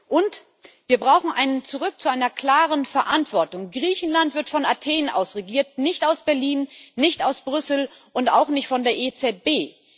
Und wir brauchen ein Zurück zu einer klaren Verantwortung Griechenland wird von Athen aus regiert, nicht aus Berlin, nicht aus Brüssel und auch nicht von der EZB.